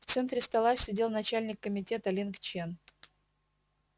в центре стола сидел начальник комитета линг чен